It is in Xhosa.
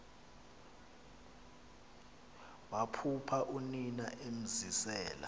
waphupha unina emzisela